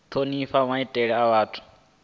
thonifha maitele a vhathu na